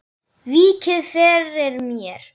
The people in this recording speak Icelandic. Víkið fyrir mér.